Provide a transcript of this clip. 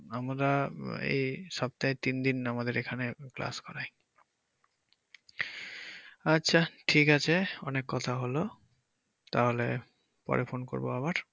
আমরা এই সপ্তাহে তিনদিন আমাদের এখানে class করায় আচ্ছা ঠিক আছে অনেক কথা হলো তাহলে পরে phone করব আবার।